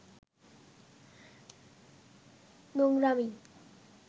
নোংরামি